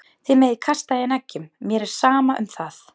Þið megið kasta í hann eggjum, mér er sama um það.